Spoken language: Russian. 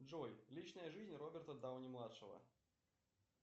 джой личная жизнь роберта дауни младшего